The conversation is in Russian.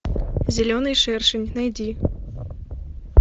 зеленый шершень найди